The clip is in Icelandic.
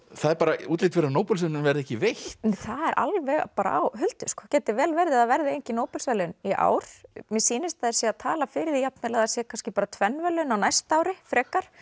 það er útlit fyrir að Nóbelsverðlaunin verði ekki veitt það er alveg á huldu gæti vel verið að það verði engin Nóbelsverðlaun í ár mér sýnist að þeir séu að tala fyrir því jafnvel að það sé kannski bara tvenn verðlaun á næsta ári frekar